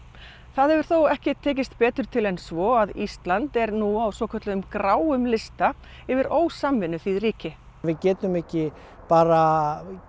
það hefur þó ekki tekist betur til en svo að Ísland er nú á svokölluðum gráum lista yfir ósamvinnuþýð ríki við getum ekki bara